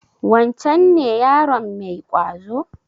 Wancen ne yaron mai ƙwazo?